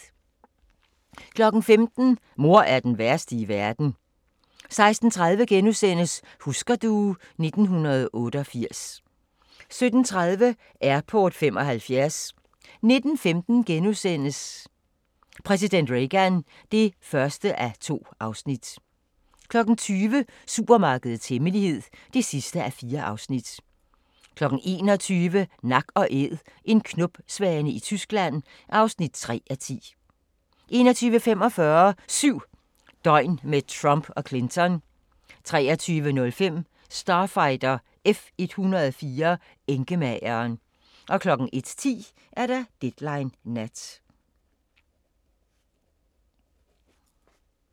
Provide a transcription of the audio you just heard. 15:00: Mor er den værste i verden 16:30: Husker du ... 1988 * 17:30: Airport 75 19:15: Præsident Reagan (1:2)* 20:00: Supermarkedets hemmelighed (4:4) 21:00: Nak & Æd – en knopsvane i Tyskland (3:10) 21:45: 7 døgn med Trump og Clinton 23:05: Starfighter F-104 - enkemageren 01:10: Deadline Nat